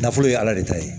Nafolo ye ala de ta ye